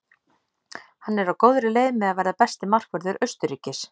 Hann er á góðri leið með að verða besti markvörður Austurríkis.